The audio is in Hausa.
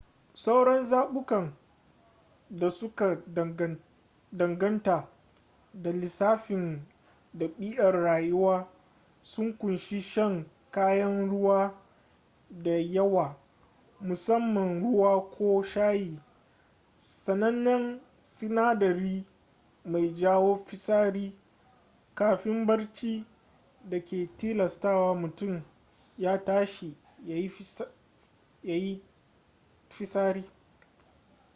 sauran zabukan da suka danganta da lissafin ɗabi’ar rayuwa sun kunshi shan kayan ruwa da yawa musamman ruwa ko shayi sanannen sinadari mai jawo fitsari kafin barci da ke tilastawa mutum ya tashi ya yi ftisari